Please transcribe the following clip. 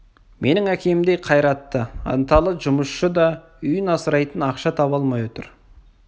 менің әкемдей қайратты ынталы жұмысшы да үйін асырайтын ақша таба алмай отыр